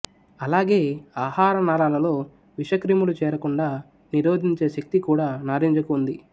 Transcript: అలాగే ఆహారనాళాలలో విషక్రిములు చేరకుండా నిరోధించే శక్తి కూడా నారింజకు ఉంది